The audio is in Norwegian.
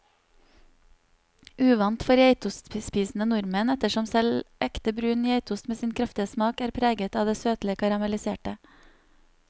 Uvant for geitostspisende nordmenn, ettersom selv ekte brun geitost med sin kraftige smak er preget av det søtlige karamelliserte.